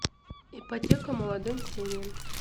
ипотека молодым семьям